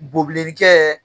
Bobilenni kɛ